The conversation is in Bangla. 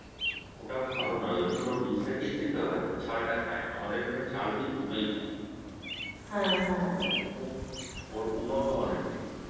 ওটা ভালো নয় ওইজন্য ওর বীজটা কেই খেতে হয় ওর ছালটা খায়না আমাদের এখানে ছাল বীজ দুটোই খায় এখানে ওর উন্নত মানের সিম